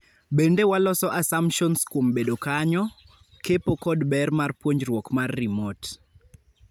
Bende waloso assumtions kuom bedo kanyo, kepo kod ber mar puonjruok mar remote.